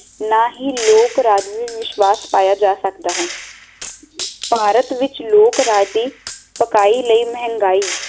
ਨਾ ਹੀ ਲੋਕ ਰਾਜ ਵਿਚ ਵਿਸਵਾਸ਼ ਪਾਇਆ ਜਾ ਸਕਦਾ ਹੈ ਭਾਰਤ ਵਿੱਚ ਲੋਕ ਰਾਜ ਦੀ ਪਕਾਈ ਲਈ ਮਹਿੰਗਾਈ